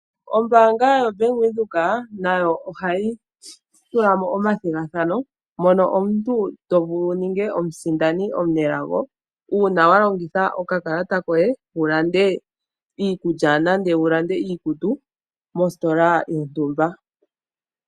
Ombaanga yoBank Windhoek nayo ohayi tula mo omathigathano mono omuntu to vulu wu ninge omusindani omunelago uuna wa longitha okakalata koye wu lande iikulya nenge iikutu mositola yontumba.